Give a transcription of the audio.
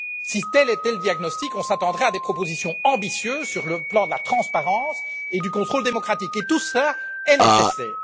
Si tel était le diagnostic, on s'attendrait à des propositions ambitieuses sur le plan de la transparence et du contrôle démocratique, et tout cela est nécessaire.